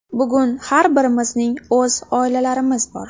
Bugun har birimizning o‘z oilalarimiz bor.